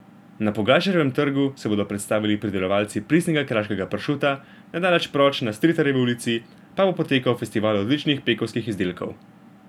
Na Pogačarjevem trgu se bodo predstavili pridelovalci pristnega kraškega pršuta, nedaleč proč na Stritarjevi ulici pa bo potekal festival odličnih pekovskih izdelkov.